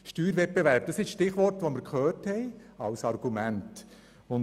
Steuerwettbewerb ist das Stichwort, das wir als Argument gehört haben.